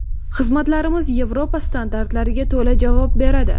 Xizmatlarimiz Yevropa standartlariga to‘la javob beradi.